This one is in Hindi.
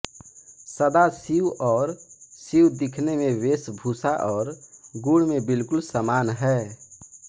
सदाशिव और शिव दिखने में वेषभूषा और गुण में बिल्कुल समान है